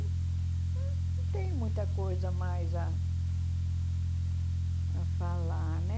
Não tenho muita coisa mais a a falar, né?